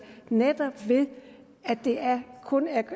netop ved at det kun